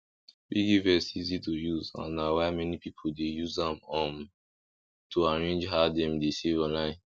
piggyvest easy to use and na why many people dey use am um to arrange how dem dey save online